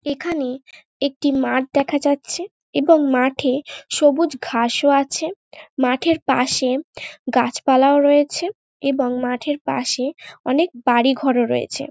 এখানে একটি মাঠ দেখা যাচ্ছে এবং মাঠে সবুজ ঘাস ও আছে । মাঠের পাশে গাছপালাও রয়েছে এবং মাঠের পাশে অনেক বাড়ি ঘরও আছে।